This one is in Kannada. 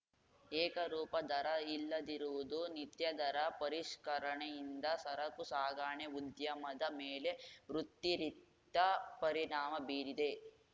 ಏಕರೂಪ ದರ ಇಲ್ಲದಿರುವುದು ನಿತ್ಯ ದರ ಪರಿಷ್ಕರಣೆಯಿಂದ ಸರಕು ಸಾಗಣೆ ಉದ್ಯಮದ ಮೇಲೆ ವೃತ್ತಿರಿಕ್ತ ಪರಿಣಾಮ ಬೀರಿದೆ